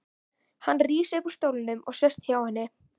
Hann rís upp úr stólnum og sest hjá henni.